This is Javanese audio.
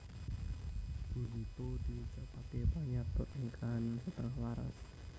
Bunito diucapaké panyatur ing kahanan setengah waras